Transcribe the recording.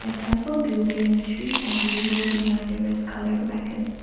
a temple building in trees are visible behind a red coloured wagon.